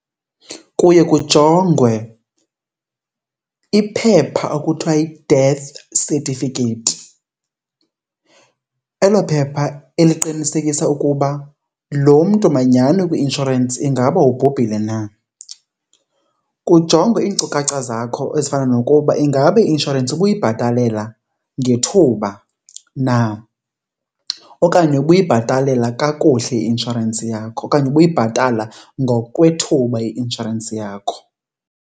Kuye kujongwe iphepha ekuthiwa yi-death certificate, elo phepha eliqinisekisa ukuba lo mntu manyhani ukwi-inshorensi ingaba ubhubhile na. Kujongwe iinkcukacha zakho ezifana nokuba ingaba i-inshorensi ubuyibhatalela ngethuba na okanye ubuyibhatalela kakuhle i-inshorensi yakho okanye ubuyibhatala ngokwethuba i-inshorensi yakho.